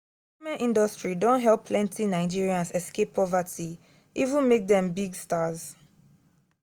entertainment industry don help plenty nigerians escape poverty even make dem big stars.